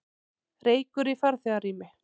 Reykur í farþegarými